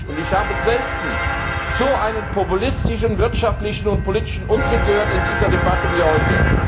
Und ich habe selten so einen populistischen wirtschaftlichen und politischen Unsinn gehört wie in dieser Debatte heute.